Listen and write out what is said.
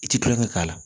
I ti tulonkɛ k'a la